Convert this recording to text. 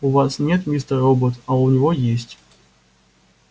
у вас нет мистер робот а у него есть